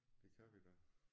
Det kan vi da